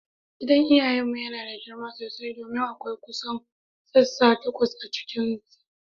Gidan iyawan mu yana da girma sosai domin akwai kusan sassan takwas a cikinsa.